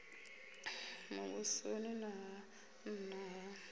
muvhusoni na ha nna ha